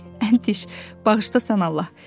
"Bıy, Əntiş, bağışla sən Allah."